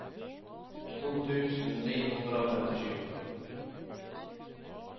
to tusen ni hundre og femtisju